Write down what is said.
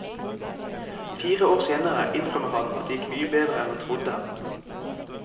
Fire år senere innrømmer han at det gikk mye bedre enn han trodde.